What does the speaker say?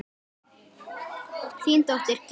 Þín dóttir, Gyða María.